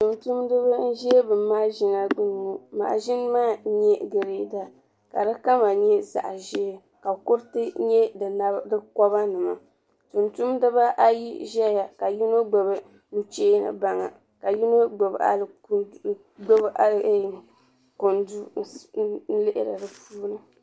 Tumtumdiba n ʒabi mashina gbuniŋɔ. mashini maa n nyɛ greeda ka sokama nyɛzaɣi ʒɛɛ. ka kuriti n nyɛ di koba nima. tum taba ayi ʒaya ka yinɔgbubi ni che baŋa ka yinɔ mi kundi nyuuni di puuni